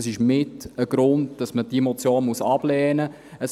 Es ist mit ein Grund, weshalb man diese Motion ablehnen muss.